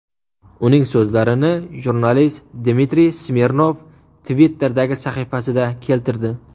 Uning so‘zlarini jurnalist Dmitriy Smirnov Twitter’dagi sahifasida keltirdi .